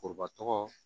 Foroba tɔgɔ